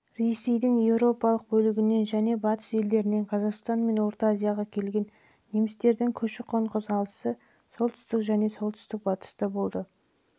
ресейдің еуропалық бөлігінен және батыс елдерінен қазақстан мен орта азияға келген немістердің көші-қон қозғалысы солтүстік және